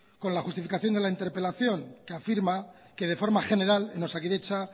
con la justificación de la interpelación que afirma que de forma general en osakidetza